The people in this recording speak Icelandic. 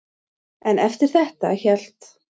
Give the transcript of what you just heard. En eftir þetta hélt